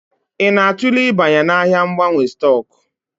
Ị na-atụle ịbanye n'ahịa mgbanwe stock?